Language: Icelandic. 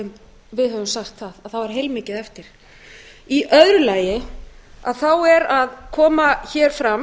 og við höfum sagt það að þá er heilmikið eftir virðulegi forseti í öðru lagi þá er að koma hér fram